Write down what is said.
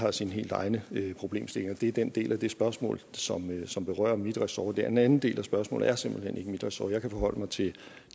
har sine helt egne problemstillinger det er den del af det spørgsmål som som berører mit ressort den anden del af spørgsmålet er simpelt hen ikke mit ressort jeg kan forholde mig til